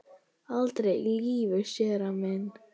Aldrei í lífinu, séra minn.